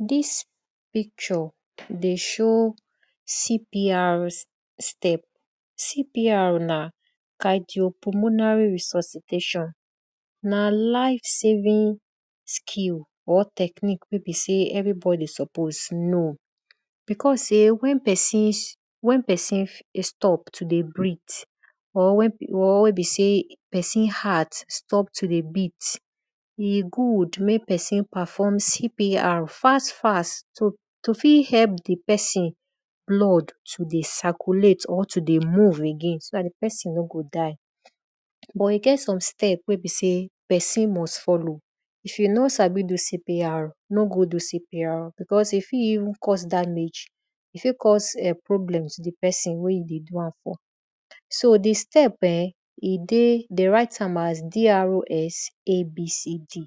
Dis process dey show CPR step CPR na cardiopulmonary resuscitation na life saving skill or technique wey be sey everibodi suppose know because sey wen pesin stop to dey breath or wen be sey pesin heart stop to dey beat, w good mek pesin perfom CPR fast fast to fit help di pesin blood to dey circulate or to dey moe again so dat di pesin no go die but e get some step weypesin must follow. If tyou nor sabi do CpR, no go do CPR because e fit vn cause damage, e fit cause problem to di pesin wey you dey do am for. So di step[um]de write am as DRSABCD.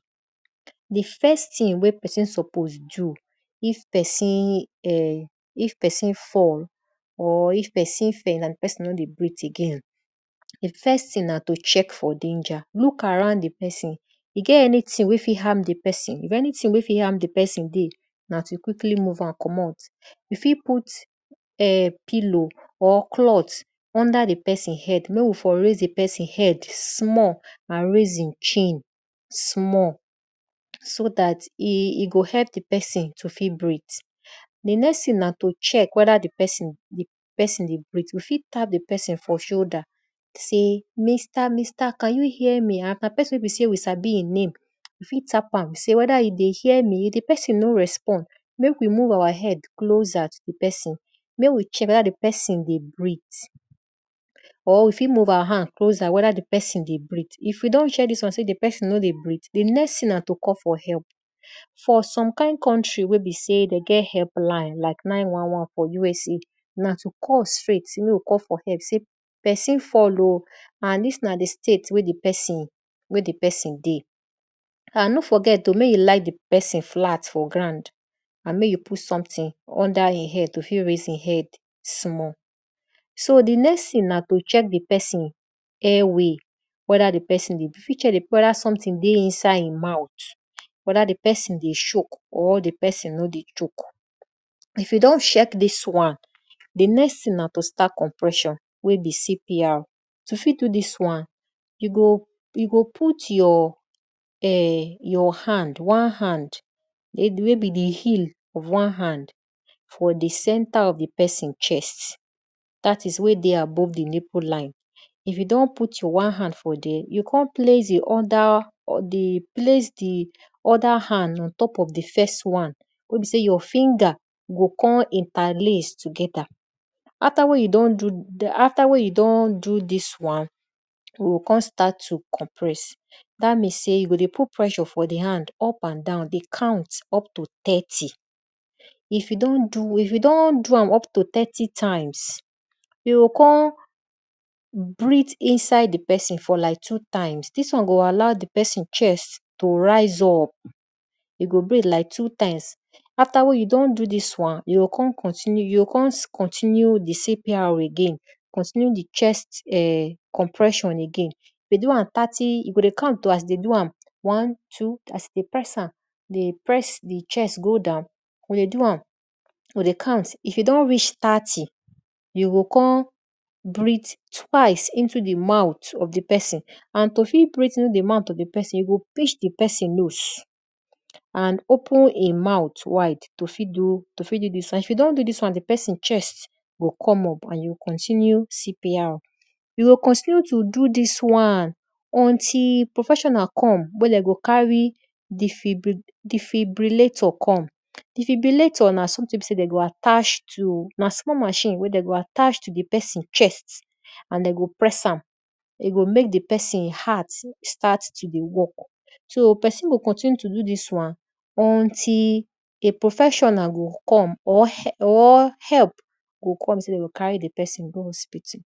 Di first tthing wey pesin suppose do if pesin fall or if osin faint and di pesin no dey breth again, di first thing na to look around from danger. Look around di pesin if anything wey fit harm di pesin if anything wey fit harm di pesin dey, na to quickly move am commot. Youfit put pillow or cloth under di pesin head mek we for raise di pesin head small and raise e chin small so dat e go help di pesin to fit breath. Di next thing na to check eda di pesin dey breath you fit tap di pesin for shoulder say minster, minster can you hear me if na pesin wey be sey we sabi e name we fit tap am sey weda e dey hear me if di pesin no respond mek we move our head close to di pesin mek we check weda di pesin dey breath or we fit move our hand closer weda di pesin dey breath. If we don check dis one sey di pesin no dey breath, for some kind contry wey dey get health line like 911 for USA na to call straight sey pesin fall o and dis na di state wey di pesin dey. and no forget o mek you lie di pesin flat for ground andmek you put something under e head to fit raise e head. So di next thing na to check di pesin air way weda something dey e mouth, weda di pesin dey chock. If you don check dis wan, di next thing na to start compression wey be CPR. To fit do dis wan, you go put your hand, one hand wey be di heel of one hand for di center of di pesin check dt is we de above di nipple line. If you don pout your one hand for there, you go kon place di other hand wey beseyyour finger go kon interlaces together, afta wen you don do afta wen you don do dis wan, you o kon start to compress dat means sey you go dey put pressure for di hand up and down dey count up to thirty. If you don do am up to thirty times, you o kon breath inside di pesin for like two times dis won go allow di pesin chest to rise up you go breath like two times, afta you don do dis won, you o kon continue di CPR again continue di check compression again. De dey am thirty you go dey count as you dey do am as you dey press di chest go down, you go dey count. If e don reach thirty, you go kkon breath twice into di mouth of di pesi and to fit breath into di mouth off di pesin, you go pinch di pesin nose and open e mouth wide to fit do dis wan if you don do dis wan di pesin chest go come up and you continue CPR. You o continue to do dis wan until professional come we de go carry defibrillator come. D efibrillator na something wey besey de go attach to na small machine wey de go attach to di pesin chest and de go press am, e go mek di pesin heart start to dey work so pesin go continue to do dis wan until a professional go come or help go come wey be sey de gocarry di pesin go hospital.